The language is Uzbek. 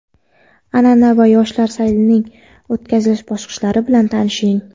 an’ana va yoshlar saylining o‘tkazilish bosqichlari bilan tanishing!.